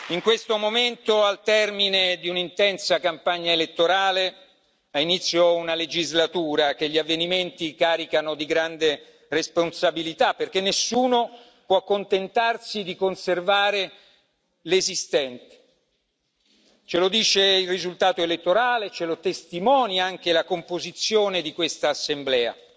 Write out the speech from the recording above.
In questo momento, al termine di un'intensa campagna elettorale, ha inizio una legislatura che gli avvenimenti caricano di grande responsabilità, perché nessuno può accontentarsi di conservare l'esistente ce lo dice il risultato elettorale e ce lo testimonia anche la composizione di questa Assemblea.